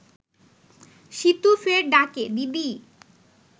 সীতু ফের ডাকে, দিদি